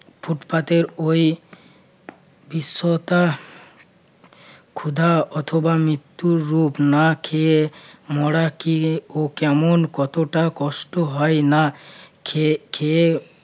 ফুটপাতের ওই দৃশ্যটা ক্ষুধা অথবা মৃত্যুর রূপ না খেয়ে মরা কি ও কেমন কতটা কষ্ট হয় না খেয়ে খেয়ে।